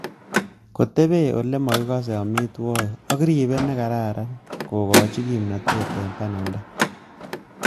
Kotepei ole makikas amitwogik ak riper ne kararan kokikochi kimnatet eng bananda